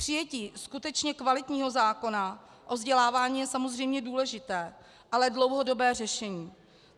Přijetí skutečně kvalitního zákona o vzdělávání je samozřejmě důležité, ale dlouhodobé řešení.